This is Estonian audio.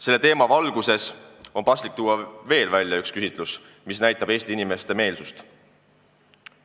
Selle teema valguses on paslik tuua välja veel üks küsitlus, mis näitab Eesti inimeste meelsust.